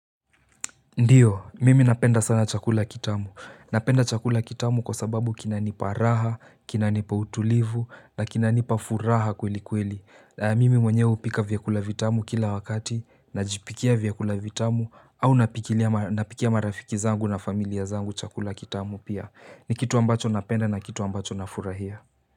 Ndiyo mimi napenda sana chakula kitamu napenda chakula kitamu kwa sababu kinanipa raha, kinanipa utulivu na kinanipa furaha kweli kweli. Mimi mwenyewe hupika vyakula vitamu kila wakati najipikia vyakula vitamu au napikia marafiki zangu na familia zangu chakula kitamu pia. Ni kitu ambacho napenda na kitu ambacho nafurahia.